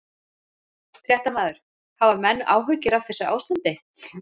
Fréttamaður: Hafa menn áhyggjur af þessu ástandi?